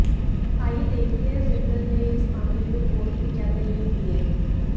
आइए देखते हैं सिब्बल ने इस मामले में कोर्ट में क्या दलील दी है